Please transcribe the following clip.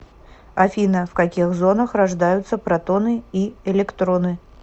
афина в каких зонах рождаются протоны и электроны